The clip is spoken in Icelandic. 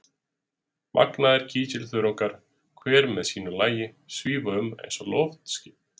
Magnaðir kísilþörungar, hver með sínu lagi, svífa um eins og loftskip.